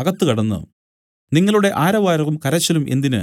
അകത്ത് കടന്നു നിങ്ങളുടെ ആരവാരവും കരച്ചിലും എന്തിന്